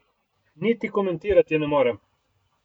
Niti komentirati ne morem.